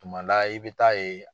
Tuma la i bɛ taa ye.